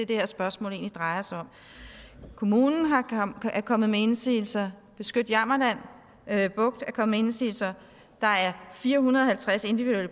det her spørgsmål egentlig drejer sig om kommunen er kommet med indsigelser beskyt jammerland bugt er kommet med indsigelser der er fire hundrede